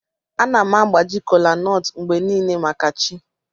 Ana m agbaji kolanut mgbe niile maka chi.